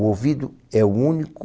O ouvido é o único...